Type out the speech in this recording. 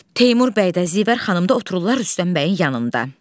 Teymur bəy də, Zivər xanım da otururlar Rüstəm bəyin yanında.